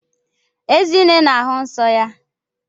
Ezinne na-ahụ nsọ ya.